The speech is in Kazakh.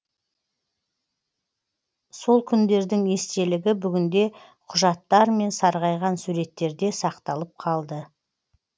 сол күндердің естелігі бүгінде құжаттар мен сарғайған суреттерде сақталып қалды